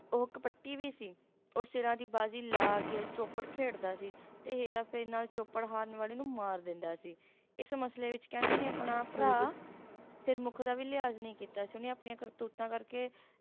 ਉਹ ਕਪੱਟੀ ਵੀ ਸੀ ਉਹ ਸਿਰਾਂ ਦੀ ਬਾਜੀ ਲਾ ਕੇ Chopad ਖੇਡਦਾ ਸੀ ਤੇ ਹੇਰਾਫੇਰੀ ਨਾਲ Chopad ਹਾਰਨ ਵਾਲੇ ਨੂੰ ਮਾਰ ਦਿੰਦਾ ਸੀ ਇਸ ਮਸਲੇ ਵਿੱਚ ਕਹਿੰਦੇ ਉਹਨੇ ਆਪਣਾ ਭਰਾ ਹਾਂਜੀ Sirmukh ਦਾ ਵੀ ਲਿਹਾਜ ਨਹੀਂ ਕੀਤਾ ਸੀ ਉਹਨੇ ਆਪਣੀਆਂ ਕਰਤੂਤਾਂ ਕਰਕੇ